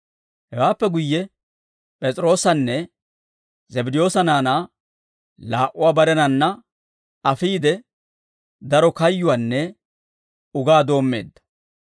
Hewaappe guyye P'es'iroosanne Zabddiyoosa naanaa laa"uwaa barenanna afiide, daro kayyuwaanne ugaa doommeedda.